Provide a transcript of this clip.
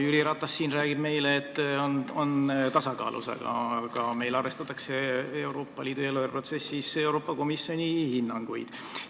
Jüri Ratas siin räägib meile, et eelarve on tasakaalus, aga Euroopa Liidu eelarveprotsessis arvestatakse Euroopa Komisjoni hinnanguid.